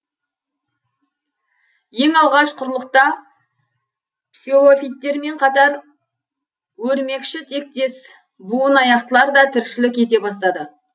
ең алғаш құрлықта псилофиттермен қатар өрмекшітектес буынаяқтылар да тіршілік ете бастады